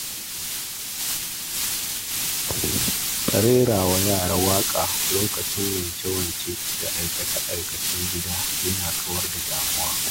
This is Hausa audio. Rerawa yara waƙa lokacin wanke-wanke da aikace-aikacen gida na kauda damuwa.